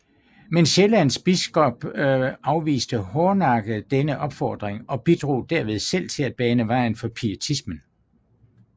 Men Sjællands biskop afviste hårdnakket denne opfordring og bidrog derved selv til at bane vejen for pietismen